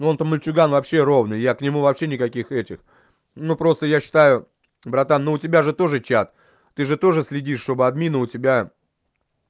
он то мальчуган вообще ровный я к нему вообще никаких этих ну просто я считаю братан ну у тебя же тоже чат ты же тоже следить чтобы администраторы у тебя